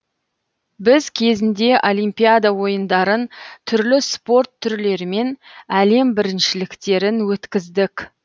біз кезінде олимпиада ойындарын түрлі спорт түрлерінен әлем біріншіліктерін өткіздік